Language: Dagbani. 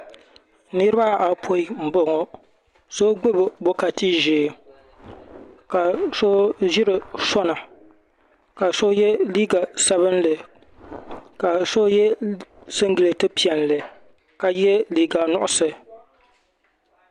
Niriba ayɔpoin n boŋɔ so gbibi bokati ʒee ka so ʒiri sona ka so ye liiga sabinli ka so ye singileti piɛlli ka ye liiga nuɣuso.